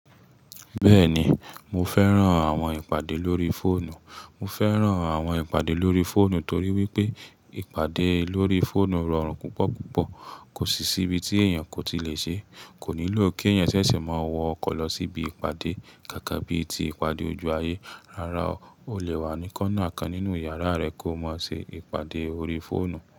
Bẹ́ẹ̀ni, mo fẹ́ran àwọn ìpàdé lórí fóònù. Mo fẹ́ran àwọn ìpàdé lórí fóònù torí wípé ìpàdé lórí fóònù rọrùn púpọ̀ púpọ̀. Kò sì sí ibi tí èèyàn kò ti lè ṣé. Kò nílò kí ẹ̀yàn ṣẹ̀ṣẹ̀ máa wọ ọkọ̀ lọ síbi ìpàdé gẹ́gẹ́ bíi ti ìpàdé ojú ayé. Rárá o, o lè wà ní kọ́ńnà kan nínú yàrá rẹ kó máa ṣe ìpàdé orí fóònù.